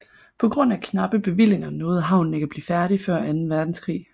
På grund af knappe bevillinger nåede havnen ikke at blive færdig før anden verdenskrig